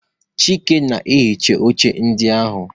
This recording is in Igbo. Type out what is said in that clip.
Chike na-ehicha oche ndị ahụ